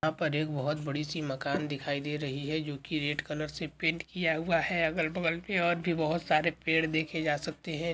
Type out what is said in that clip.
यहाँ पर एक बहुत बड़ी सी मकान दिखाई दे रही है जो कि रेड कलर से पेंट किया हुआ है अगल बगल में और भी बहुत सारे पेड़ देखे जा सकते है।